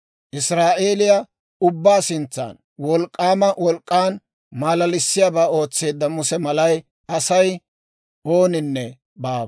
Israa'eeliyaa ubbaa sintsan wolk'k'aama wolk'k'an maalalissiyaabaa ootseedda Muse mala Asay ooninne baawa.